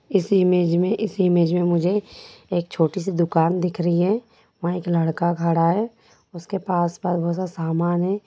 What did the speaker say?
इस इमेज में इस इमेज में मुझे एक छोटी सी दुकान दिख रही है वहाँ एक लड़का खड़ा है उसके पास-पास बहुत-सा सामान है।